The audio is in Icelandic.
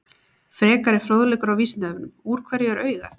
Frekari fróðleikur á Vísindavefnum: Úr hverju er augað?